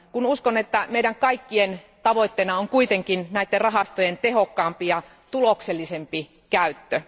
Uskon, että meidän kaikkien tavoitteena on kuitenkin näiden rahastojen tehokkaampi ja tuloksellisempi käyttö.